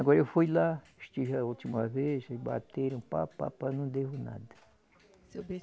Agora eu fui lá, estive a última vez, bateram, papapá, não devo nada.